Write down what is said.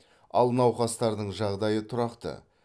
ал науқастардың жағдайы тұрақты